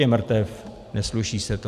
Je mrtev, nesluší se to.